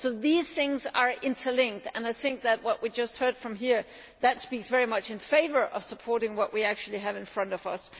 So these things are interlinked and I think that what we just heard here speaks very much in favour of supporting what we actually have in front of us.